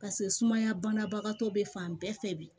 Paseke sumaya banabagatɔ bɛ fan bɛɛ fɛ bi